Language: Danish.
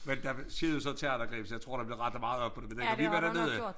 Men der var siden så terrorangrebet så jeg tror der er blevet rettet meget op på det men dengang vi var dernede